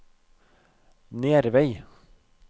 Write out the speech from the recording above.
Nervei